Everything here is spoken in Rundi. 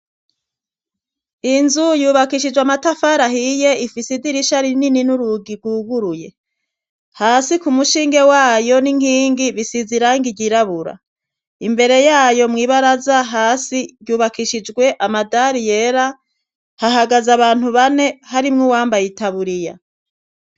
Inzu yubakishijwe amatafari ahiye, ifise idirisha rinini n'urugi rwuguruye. Hasi ku mushinge wayo n'inkingi risize irangi ryirabura, imbere yayo mw' ibaraza hasi yubakishijwe amadari yera, hahagaze abantu bane harimwo uwambaye itaburiya.